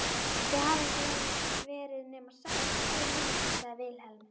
Þið hafið ekki verið nema sex, sjö mínútur, sagði Vilhelm.